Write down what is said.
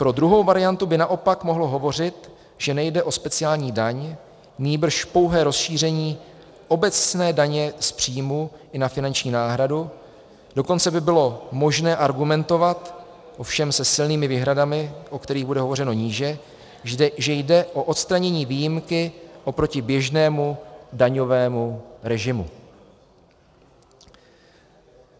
Pro druhou variantu by naopak mohlo hovořit, že nejde o speciální daň, nýbrž pouhé rozšíření obecné daně z příjmu i na finanční náhradu, dokonce by bylo možné argumentovat, ovšem se silnými výhradami, o kterých bude hovořeno níže, že jde o odstranění výjimky oproti běžnému daňovému režimu.